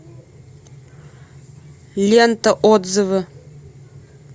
лента отзывы